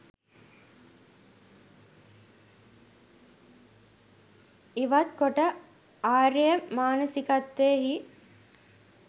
ඉවත් කොට ආර්ය මානසිකත්වයෙහි